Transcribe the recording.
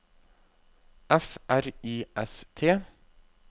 F R I S T